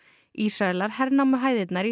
Ísraelar hernámu hæðirnar í